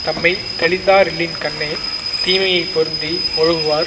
தம்மை தெளிந்தாரில்லின்கண்ணே தீமையை பொருந்தி ஒழுகுவார்